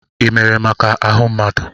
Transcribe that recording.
Ị mere maka ahụ mmadụ?